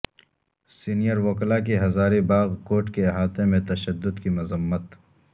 senior وکلاء کی Hazaribagh court کے احاطہ میں تشدد کی مذمت